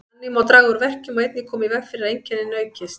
Þannig má draga úr verkjum og einnig koma í veg fyrir að einkennin aukist.